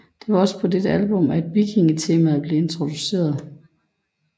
Det var også på dette album af vikingetemaet blev introduceret